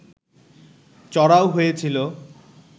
চড়াও হয়েছিল